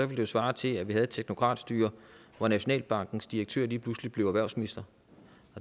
ville svare til at vi havde et teknokratstyre hvor nationalbankens direktør lige pludselig blev erhvervsminister